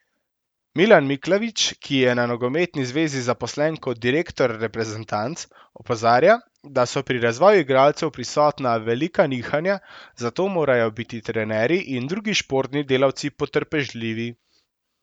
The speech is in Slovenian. Milan Miklavič, ki je na nogometni zvezi zaposlen kot direktor reprezentanc, opozarja, da so pri razvoju igralcev prisotna velika nihanja, zato morajo biti trenerji in drugi športni delavci potrpežljivi.